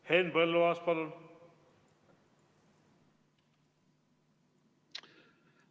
Henn Põlluaas, palun!